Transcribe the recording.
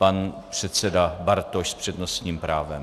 Pan předseda Bartoš s přednostním právem.